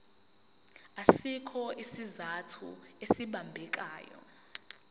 asikho isizathu esibambekayo